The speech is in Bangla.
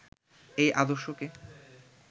এই আদর্শকে